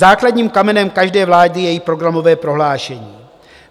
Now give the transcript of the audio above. Základním kamenem každé vlády je její programové prohlášení.